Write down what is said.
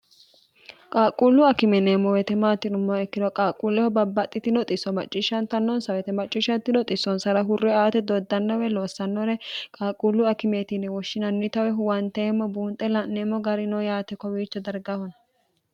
qaaqquullu akimeneemmo wetemaatinummo ikkiro qaaqquulleho babbaxxiti noxisso macciishshantannonsa wetemacciishshatti noxissonsara hurre aate doddannowe loossannore qaaqquullu akimeetinni woshshinanni tawe huwanteemmo buunxe la'neemmo gari noo yaate kowiicho dargahona